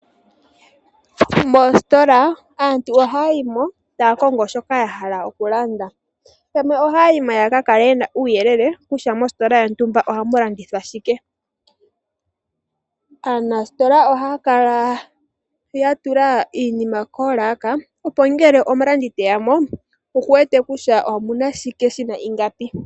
Moositola aantu ohaya yi mo, taya kongo shoka ya hala oku landa, yamwe ohaya yi mo yaka kale ye na uuyelele kutya mositola yontumba ohamu landithwa shike. Aanasitola ohaya kala ya tula iinima koolaka, opo ngele omulandi te ya mo, oku wete kutya omu na shike, shi na ingapi.